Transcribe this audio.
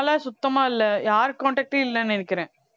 சுத்தமா இல்லை யாரு contact ம் இல்லைன்னு நினைக்கிறேன்